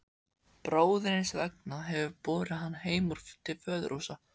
Bróðir hins vegna hefur borið hann heim til föðurhúsa.